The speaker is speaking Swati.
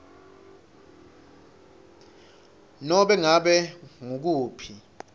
nobe ngabe ngukuphi